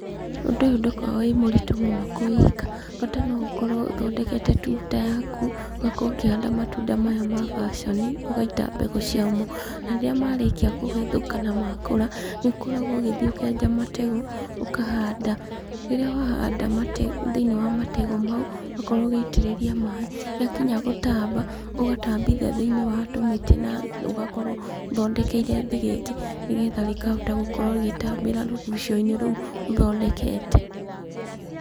Ũndũ ũyũ ndũkoo wĩ mũritũ mũno kũwĩka, bata no ũkorwo ũthondekete tuta yaku, ũgakorwo ũkĩhanda matunda maya ma baconi, ũgaita mbegũ ciamo. Na rĩrĩa marĩkia kũhethũka na makũra, nĩ ũkoragwo ũgĩthiĩ ũkenja mategũ, ũkahanda. Rĩrĩa wahanda thĩiniĩ wa mategũ mau, ũgakorwo ũgĩitĩrĩria maĩ, rĩa kinya gũtamba, ũgatambithia thĩiniĩ wa tũmĩtĩ na ũgakorwo ũthondekeire thĩgĩngĩ, nĩgetha rĩkahota gũkorwo rĩgĩtambĩra rũgucio-inĩ rũu ũthondekete.